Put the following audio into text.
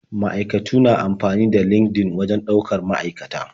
Ma'aikatu na amfani da LinkedIn wajen ɗaukar sababbin ma'aikata.